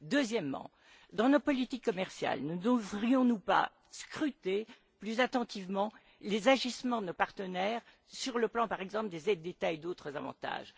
Deuxièmement, dans nos politiques commerciales, ne devrions nous pas scruter plus attentivement les agissements de nos partenaires sur le plan, par exemple, des aides d'État et d'autres avantages?